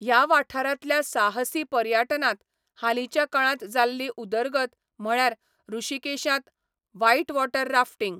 ह्या वाठारांतल्या साहसी पर्यटनांत हालींच्या काळांत जाल्ली उदरगत म्हळ्यार ऋषिकेशांत व्हायटवॉटर राफ्टिंग.